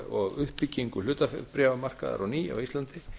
og uppbyggingu hlutabréfamarkaðar á ný á íslandi